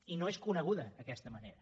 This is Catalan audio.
i no és coneguda aquesta manera